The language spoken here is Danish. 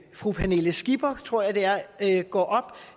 fru pernille skipper tror jeg det er går op